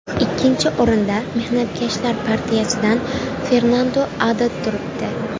Ikkinchi o‘rinda Mehnatkashlar partiyasidan Fernandu Addad turibdi.